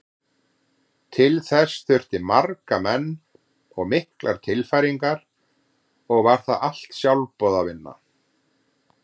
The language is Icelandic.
Til þess þurfti marga menn og miklar tilfæringar og var það allt sjálfboðavinna.